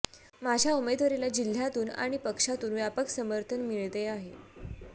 माझ्या उमेदवारीला जिह्यातून आणि पक्षातून व्यापक समर्थन मिळते आहे